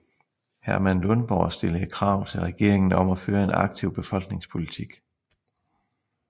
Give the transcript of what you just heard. Herman Lundborg stillede krav til regeringen om at føre en aktiv befolkningspolitik